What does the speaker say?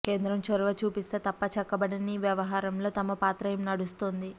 కేంద్రం చొరవ చూపిస్తే తప్ప చక్కబడని ఈ వ్యవహారంలో తమ పాత్ర ఏం నడుస్తోంది